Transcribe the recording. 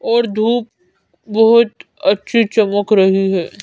और धूप बहुत अच्छी चमक रही है।